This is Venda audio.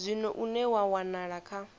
zwino une wa wanala kha